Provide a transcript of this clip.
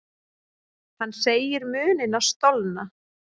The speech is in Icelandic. Hann segir munina stolna.